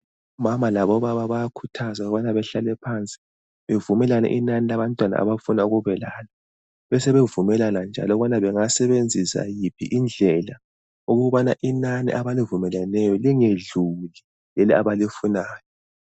Omama labobaba bayakhuthazwa ukubana behlale phansi bevumelane inani labantwana abafuna ukubelalo. Besebevumelana njalo ukuthi bengasebenzisa yiphi indlela ukubana inani abalivumeleneyo lingedluli leli abalifunayo.